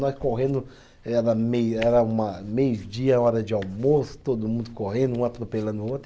Nós correndo, era meio, era uma, meio-dia, hora de almoço, todo mundo correndo, um atropelando o outro.